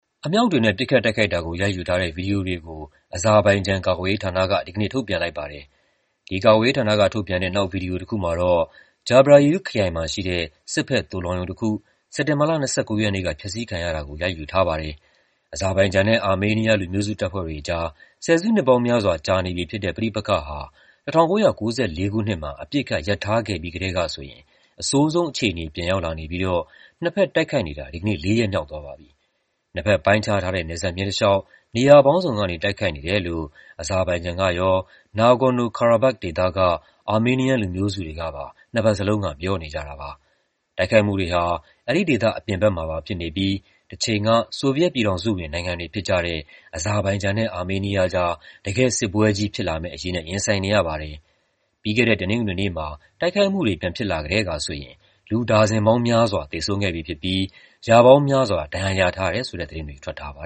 အမြောက်တွေနဲ့ ပစ်ခတ်တိုက်ခိုက်တာကို ရိုက်ယူထားတဲ့ ဗွီဒီယိုတွေကို အဇာဘိုင်ဂျန် ကာကွယ်ရေးဌာနက ဒီကနေ့ ထုတ်ပြန်လိုက်ပါတယ်။ အဇာဘိုင်ဂျန် ကာကွယ်ရေးဌာနကထုတ်ပြန်တဲ့ နောက် ဗီဒီယိုတခုမှာတော့ Jabrayil ခရိုင်မှာရှိတဲ့ စစ်ဘက် သိုလှောင်ရုံတခု စက်တင်ဘာလ ၂၉ ရက်နေ့က ဖျက်ဆီးခံရတာကို ရိုက်ယူထားပါတယ်။ အဇာဘိုင်ဂျန်နဲ့ အာမေးနီးယား လူမျိုးစုတပ်ဖွဲ့တွေကြား ဆယ်စုနှစ်ပေါင်းများစွာ ကြာနေပြီဖြစ်တဲ့ ပဋိပက္ခဟာ ၁၉၉၄ ခုနှစ်မှာ အပစ်အခတ် ရပ်ထားခဲ့ပြီးကတည်းကဆိုရင် အဆိုးဆုံးအခြေအနေ ပြန်ရောက်လာနေပြီးတော့ နှစ်ဘက် တိုက်ခိုက်နေတာ ဒီကနေ့ လေးရက်မြောက်သွားပါပြီ။ နှစ်ဘက်ပိုင်းခြားထားတဲ့ နယ်စပ်မျဉ်းတလေ ျှာက် နေရာပေါင်းစုံကနေ တိုက်ခိုက်နေတယ်လို့ အဇာဘိုင်ဂျန်ကရော၊ Nagorno-Karabakh ဒေသက အာမေးနီးယန်း လူမျိုးစုတွေကပါ နှစ်ဘက်လုံးက ပြောနေကြတာပါ။ တိုက်ခိုက်မှုတွေဟာ အဲဒီဒေသအပြင်ဘက်မှာပါ ဖြစ်နေပြီး တချိန်က ဆိုဗီယက်ပြည်ထောင်စုဝင် နိုင်ငံတွေဖြစ်ကြတဲ့ အဇာဘိုင်ဂျန်နဲ့ အာမေးနီးယားကြား တကယ့်စစ်ပွဲကြီး ဖြစ်လာမယ့်အရေးနဲ့ ရင်ဆိုင်နေရပါတယ်။ ပြီးခဲ့တဲ့ တနင်္ဂနွေနေ့မှာ တိုက်ခိုက်မှုတွေ ပြန်ဖြစ်လာကတည်းကဆိုရင် လူ ဒါဇင်ပေါင်းများစွာ သေဆုံးခဲ့ပြီဖြစ်ပြီး ရာပေါင်းများစွာ ဒဏ်ရာရထားတယ်ဆိုတဲ့ သတင်းတွေ ထွက်ထားပါ